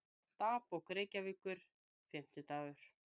Dagbók Reykjavíkur, Fimmtidagur